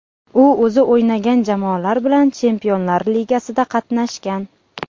U o‘zi o‘ynagan jamoalar bilan Chempionlar ligasida qatnashgan.